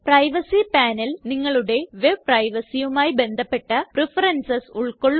privacy panel നിങ്ങളുടെ web privacyയുമായി ബന്ധപ്പെട്ട പ്രഫറൻസസ് ഉൾകൊള്ളുന്നു